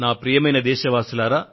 ప్రియమైన నా దేశ వాసులారా